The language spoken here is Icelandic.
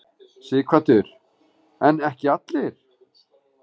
Sighvatur: En ekki allir?